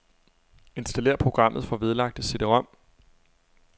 Installér programmet fra vedlagte cd-rom.